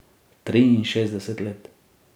Triinšestdeset let.